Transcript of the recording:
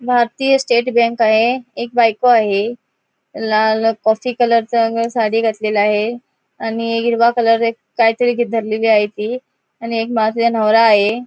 भारतीय state bank आहे एक बायको आहे लाल कॉफी कलरच साडी घातलेलं आहे आणि हिरवा कलर एक काहीतरी धरलेलीआहे ती आणि एक नवरा आहे.